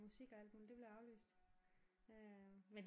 Musik og alt muligt det blev aflyst men